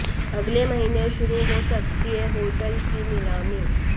अगले महीने शुरू हो सकती है होटल की नीलामी